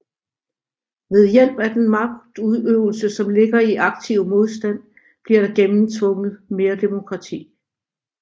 Ved hjælp af den magtudøvelse som ligger i aktiv modstand bliver der gennemtvunget mere demokrati